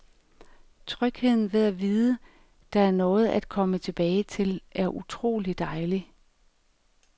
Trygheden ved at vide, der er noget at komme tilbage til, er utrolig dejlig.